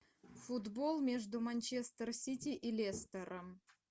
футбол между манчестер сити и лестером